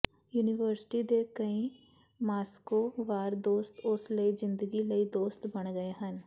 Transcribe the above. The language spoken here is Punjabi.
ਯੂਨੀਵਰਸਿਟੀ ਦੇ ਕਈ ਮਾਸ੍ਕੋ ਵਾਰ ਦੋਸਤ ਉਸ ਲਈ ਜ਼ਿੰਦਗੀ ਲਈ ਦੋਸਤ ਬਣ ਗਏ ਹਨ